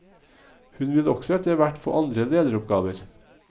Hun vil også etterhvert få andre lederoppgaver.